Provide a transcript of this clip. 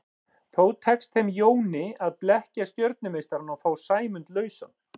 Þó tekst þeim Jóni að blekkja stjörnumeistarann og fá Sæmund lausan.